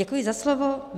Děkuji za slovo.